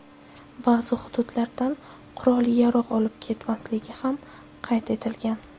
Ba’zi hududlardan qurol-yarog‘ olib ketilmasligi ham qayd etilgan.